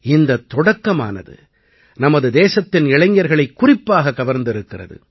இந்தத் தொடக்கமானது நமது தேசத்தின் இளைஞர்களைக் குறிப்பாக கவர்ந்திருக்கிறது